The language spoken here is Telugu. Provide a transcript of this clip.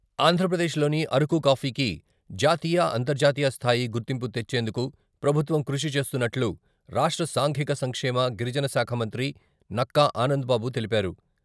ఆంధ్రప్రదేశ్లోని అరకు కాఫీకి జాతీయ, అంతర్జాతీయ స్థాయి గుర్తింపు తెచ్చేందుకు ప్రభుత్వం కృషి చేస్తున్నట్లు రాష్ట్ర సాంఘిక సంక్షేమ, గిరిజన శాఖ మంత్రి నక్కా ఆనందబాబు తెలిపారు.